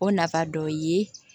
O nafa dɔ ye